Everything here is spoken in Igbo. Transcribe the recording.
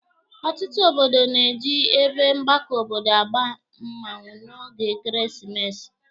Ọtụtụ obodo na-eji ebe Mgbako obodo agba mmanwụ n'oge ekeresimesi.